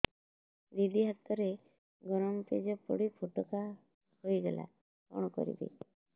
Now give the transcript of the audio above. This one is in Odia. ଦିଦି ହାତରେ ଗରମ ପେଜ ପଡି ଫୋଟକା ହୋଇଗଲା କଣ କରିବି